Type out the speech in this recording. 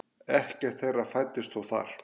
Ekkert þeirra fæddist þó þar.